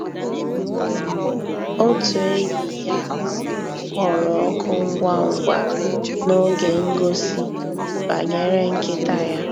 Ótú ényí yá um kpọ̀rọ́ òkụ́ ngwá ngwá n'ògé ngósì bànyéré nkị́tá yá.